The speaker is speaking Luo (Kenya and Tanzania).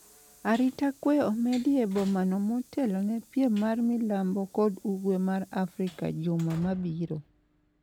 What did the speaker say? arita kwe omedi e bomano motelo ne piem mar milambo kod Ugwe mar Afrika juma mabiro